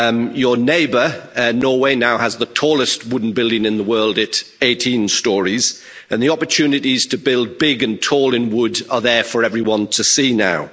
Your neighbour, Norway, now has the tallest wooden building in the world, at 18 storeys, and the opportunities to build big and tall in wood are there for everyone to see now.